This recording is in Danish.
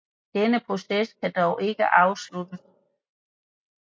Denne proces kan dog ikke afsluttes